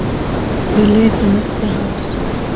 Við litum upp til hans.